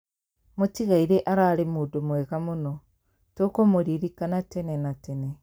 Mũtigaire ararĩ mũndũ mwega mũno, tũkũmũririkana tene na tene.